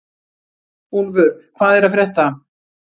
Úlfur, hvað er að frétta?